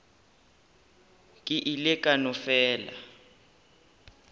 ke ile ka no fela